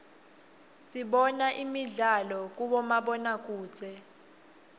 dibona imidlalo uibomabonokudze